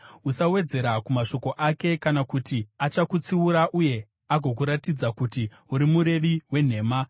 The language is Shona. Usawedzera kumashoko ake, kana kuti achakutsiura uye agokuratidza kuti uri murevi wenhema.